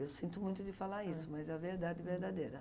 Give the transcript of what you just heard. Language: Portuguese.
Eu sinto muito de falar isso, mas é a verdade verdadeira.